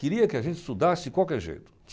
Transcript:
Queria que a gente estudasse de qualquer jeito.